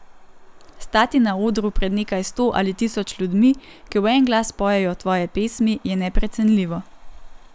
Stati na odru pred nekaj sto ali tisoč ljudmi, ki v en glas pojejo tvoje pesmi, je neprecenljivo.